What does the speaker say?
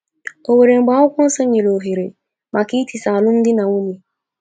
O nwere mgbe akwukwọnsọ nyere ohere maka itisa alụmdi na nwunye?